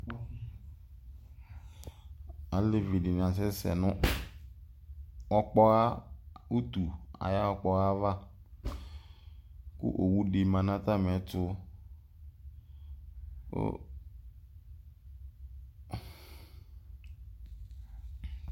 ɑlevidini ɑsɛsɛ nu utu ɑyokpoava ku owudimɑ nɑtamietu